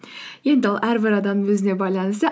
енді ол әрбір адамның өзіне байланысты